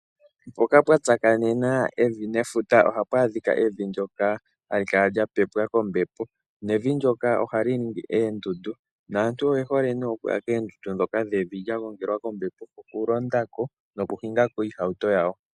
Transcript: Mpoka pwa tsakanena evi nefuta ohapu adhika evi ndyoka hali kala lya pepwa kombepo nevi ndyoka ohali ningi oondundu naantu oyehole okuya koondundu dhevi lya gongelwa kombepo okulondako noku hingako iihawuto yawo.